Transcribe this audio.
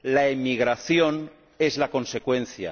La emigración es la consecuencia.